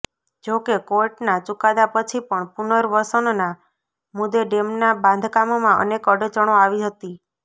જો કે કોર્ટના ચુકાદા પછી પણ પુર્નવસનના મુદ્દે ડેમના બાંધકામમાં અનેક અડચણો આવી હતી